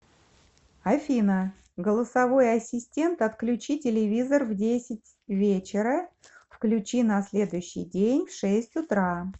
афина голосовой ассистент отключи телевизор в десять вечера включи на следующий день в шесть утра